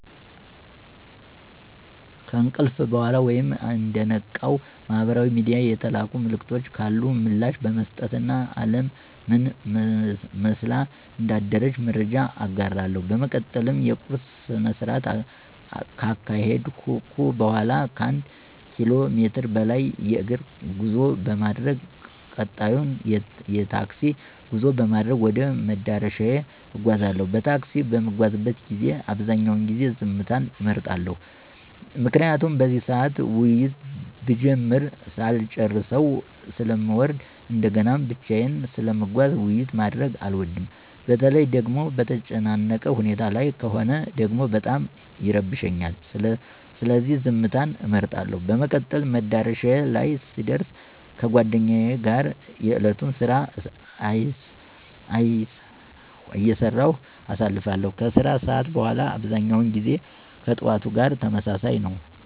ከእንቅልፍ በኋላ ወይም እንደነቃው ማህበራዊ ሚድያ የተላኩ መልዕክቶች ካሉ ምላሽ በመስጠት እና አለም ምን መስላ እንዳደረች መረጃዎች እጋራለሁ። በመቀጠል የቁርስ ስነስርዓት ካካሄድኩ በኋላ ከአንድ ኪሎ ሜትር በላይ የእግር ጉዞ በማድረግ ቀጣዩን የታክሲ ጉዞ በማድረግ ወደ መዳረሻዬ እጓዛለሁ። በታክሲ በምጓዝበት ጊዜ አብዛኛውን ጊዜ ዝምታን እመርጣለሁ። ምክንያቱም በዚህ ሰዓት ውይይት ብጀምር ሳልጨረሰው ስለምወርድ እንደገናም ብቻየን ስለምጓዝ ውይይት ማድረግ አልወድም። በተለይ ደጎሞ በተጨናነቀ ሁኔታ ላይ ከሆነ ደግሞ በጣም ይረብሸኛል። ስለዚህ ዝምትን እመርጣለሁ። በመቀጠል መዳረሻዬ ላይ ስደር ከጓደኞቼ ጋር የእለቱን ስራ አይሰራሁ አሳልፋለሁ። ከስራ ሰዓት በኋላ አብዛኛው ጊዜ ከጥዋቱ ጋር ተመሳሳይ ነው።